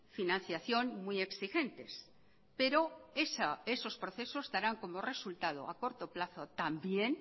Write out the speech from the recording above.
financiación muy exigentes pero esos procesos darán como resultado a corto plazo también